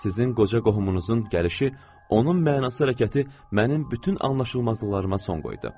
Sizin qoca qohumunuzun gəlişi, onun mənasız hərəkəti mənim bütün anlaşılmazlıqlarıma son qoydu.